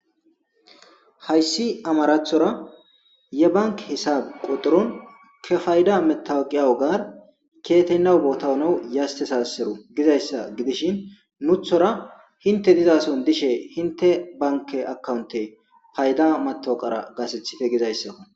Haysi amarathora yebanki hisab quxurun kepayda metawoqiyaw gar keyeteynaw bota honew yastesaseru gizaysa gidishin nuthora hinte fizason dishes hinte banke akawunte payda matoqara gasethite gizaysako